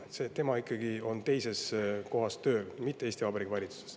Tema on tööl ikkagi teises kohas, mitte Eesti Vabariigi valitsuses.